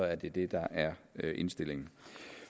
er det det der er indstillingen